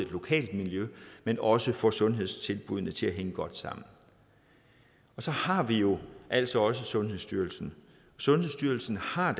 lokalt miljø men også får sundhedstilbuddene til at hænge godt sammen og så har vi jo altså også sundhedsstyrelsen sundhedsstyrelsen har